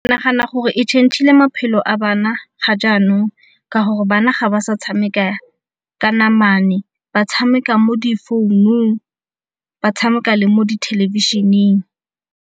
Ke nagana gore e change-ile maphelo a bana ga jaanong ka gore bana ga ba sa tshameka ka namane ba tshameka mo di founung ba tshameka le mo dithelebišheneng.